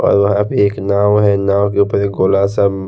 और वहाँ पे एक नाव है नाव के ऊपर एक गोला सा --